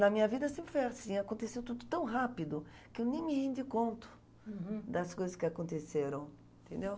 Na minha vida sempre foi assim, aconteceu tudo tão rápido que eu nem me rendi conto das coisas que aconteceram, entendeu?